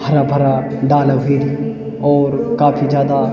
हरा-भरा डाला ह्वेगी और काफी जादा --